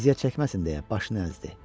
Əziyyət çəkməsin deyə başını əzdi.